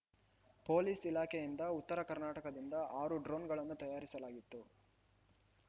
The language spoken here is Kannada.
ಪೊಲೀಸ್‌ ಇಲಾಖೆಯಿಂದ ಉತ್ತರ ಕರ್ನಾಟಕದಿಂದ ಆರು ಡ್ರೋನ್‌ಗಳನ್ನು ತರಿಸಲಾಗಿತ್ತು